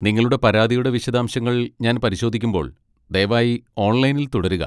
നിങ്ങളുടെ പരാതിയുടെ വിശദാംശങ്ങൾ ഞാൻ പരിശോധിക്കുമ്പോൾ ദയവായി ഓൺലൈനിൽ തുടരുക.